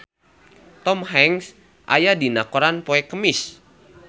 Tom Hanks aya dina koran poe Kemis